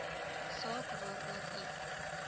saak waarvoor u